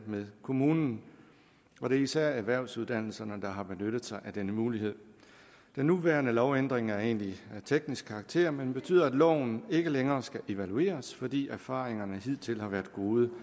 med kommunen og det er især erhvervsuddannelserne der har benyttet sig af denne mulighed den nuværende lovændring er egentlig af teknisk karakter men betyder at loven ikke længere skal evalueres fordi erfaringerne hidtil har været gode